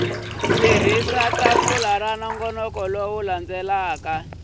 tirhisa tafula ra nongonoko wo